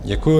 Děkuju.